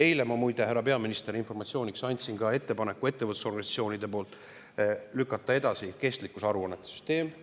Eile ma muide – härra peaminister, informatsiooniks – andsin ka ettevõtlusorganisatsioonidele üle ettepaneku lükata edasi kestlikkusaruannete süsteem.